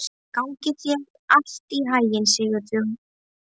Gangi þér allt í haginn, Sigurfljóð.